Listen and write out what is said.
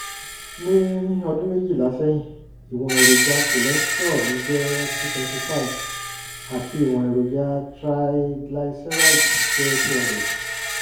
ní ọdún méjìlá sẹ́yìn ìwọ̀n èròjà cholesterol mi jẹ́ two twenty five àti ìwọ̀n èròjà triglycerides jẹ́ two hundred 200